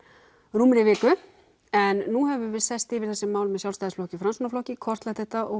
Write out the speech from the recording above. rúmri viku en nú höfum við sest yfir þessi mál með Sjálfstæðisflokki og Framsóknarflokki kortlagt þetta og